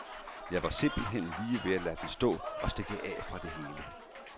Jeg var simpelthen lige ved at lade den stå og stikke af fra det hele.